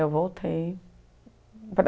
Eu voltei.